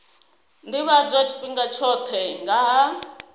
ḓivhadzwa tshifhinga tshoṱhe nga ha